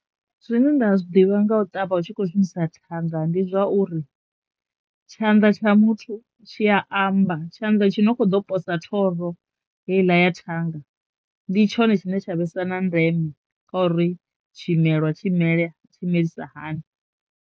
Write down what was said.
Zwine nda zwi ḓivha nga u ṱavha u tshi kho shumisa thanga ndi zwauri tshanḓa tsha muthu tshi ya amba tshanḓa tshi no kho ḓo posa thoro heiḽa ya thanga ndi tshone tshine tsha vhesa na ndeme khou ri tshimelwa tshi mele tshimelisa hani.